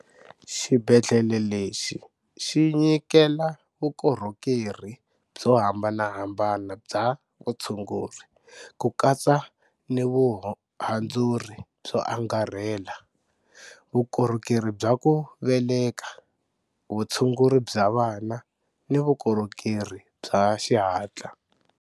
Xibedhlele lexi xi nyikelavukorhokeri byo hambanahambana bya vutsunguri, ku katsa nivuhandzuri byo angarhela, vukorhokeri bya ku veleka, vutshunguri bya vana ni vukorhokeri bya xihatla.